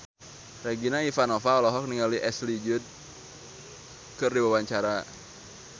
Regina Ivanova olohok ningali Ashley Judd keur diwawancara